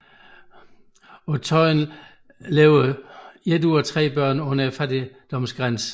På Tøyen lever et af tre børn under fattigdomsgrænsen